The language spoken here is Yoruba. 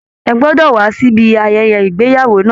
Ẹ gbọ́dọ̀ wá síbi ayẹyẹ ìgbéyàwó náà!